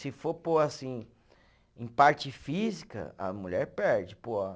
Se for, por, assim, em parte física, a mulher perde para o homem.